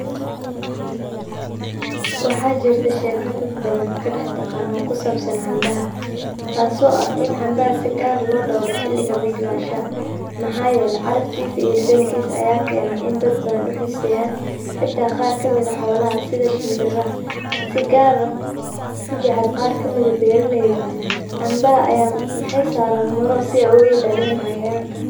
Waxa jirtah sheeka dad bathan kadaxtaqanoh, kusabsan cambaha taaso aha in cambaha si Gaar lo dooroh xeliki bislahashaha mxayelahay caraftisa, dadnkisa Aya keenayo indadbathan u xesayan xata Qaar kamit xolaha setha shembiraha si Gaar u jaceel beraleyda cambaha Aya daran malol si UGA ilaliyan cayayanga.